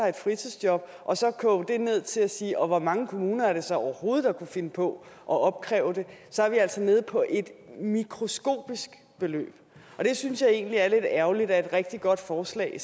et fritidsjob og så koge det ned til at sige hvor mange kommuner det så overhovedet er der kunne finde på at opkræve det så er vi altså nede på et mikroskopisk beløb jeg synes egentlig det er lidt ærgerligt at et rigtig godt forslag